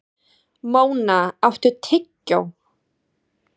Móna, áttu tyggjó?